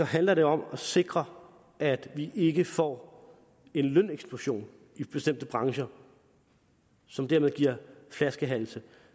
handler det om at sikre at vi ikke får en løneksplosion i bestemte brancher som dermed giver flaskehalse